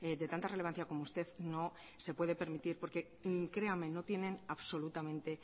de tanta relevancia como usted no se puede permitir porque créame no tienen absolutamente